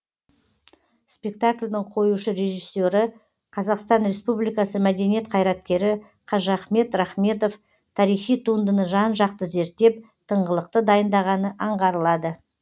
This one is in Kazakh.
спектакльдің қоюшы режиссері қазақстан республикасы мәдениет қайраткері қажыахмет рахметов тарихи туындыны жан жақты зерттеп тыңғылықты дайындағаны аңғарылады